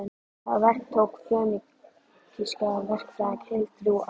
Það verk tók fönikíska verkfræðinga heil þrjú ár.